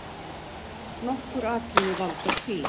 Nokkur atriði valda því.